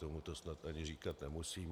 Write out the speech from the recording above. Tomu to snad ani říkat nemusím.